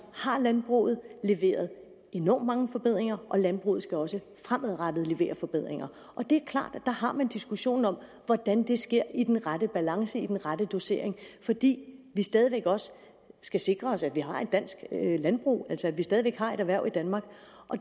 har landbruget leveret enormt mange forbedringer og landbruget skal også fremadrettet levere forbedringer og det er klart at der har man diskussionen om hvordan det sker i den rette balance i den rette dosering fordi vi stadig væk også skal sikre os at vi har et dansk landbrug altså at vi stadig væk har et erhverv i danmark